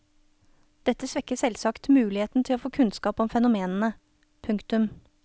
Dette svekker selvsagt muligheten til å få kunnskap om fenomenene. punktum